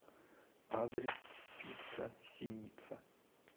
адрес пицца синица